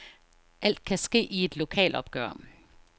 Alt kan ske i et lokalopgør.